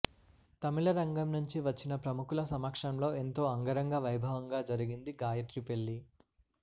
తమిళ రంగం నుంచి వచ్చిన ప్రముఖుల సమక్షంలో ఎంతో అంగరంగ వైభవంగా జరిగింది గాయత్రి పెళ్లి